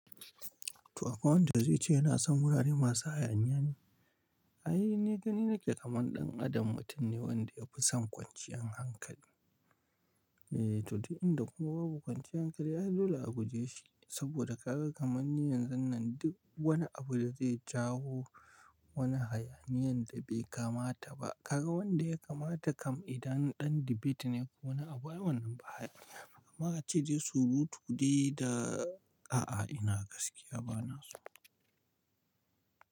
To akwai wanda zai ce yana son wurare masu hayaniya ne. Ai ni gani nake kaman ɗan adam mutum ne wanda yafi son kwanciyar hankali. Eh to duk inda kuma babu kwanciyar hankali ai lola a buje shi. Saboda ka ga kamanni yanzun nan duk wani abu da zai jawo wani hayaniyan da bai kamata ba. Ka ga wanda ya kamata kam idan ɗan debate ne ko wani abu, ai wannan ba hayaniya. Ama ace dai surutu dai da a'a ina gaskiya bana so.